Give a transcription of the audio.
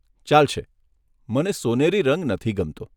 ચાલશે, મને સોનેરી રંગ નથી ગમતો.